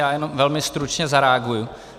Já jenom velmi stručně zareaguji.